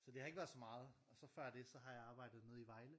Så det har ikke været så meget og så før det så har jeg arbejdet nede i Vejle